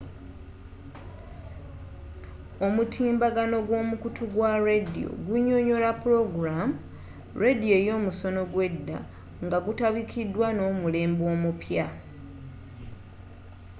omutimbagano gw'omukutu gwa radio gunnyonnyola plogramu ledyo y'omusono ogw'edda nga kutabikidwa n'omulembe omupya!